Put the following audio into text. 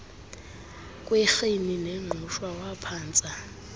kwerhini nengqushwa waphantsa